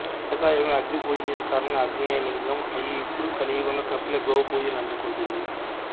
త్రేతాయుగములో అగ్ని పూజించిన కారణంగా ఆగ్నేయలింగం అయి ఇప్పుడు కలియుగంలో కపిల గోవు పూజలందుకుంటోంది